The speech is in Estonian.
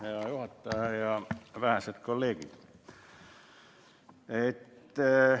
Hea juhataja ja vähesed kolleegid!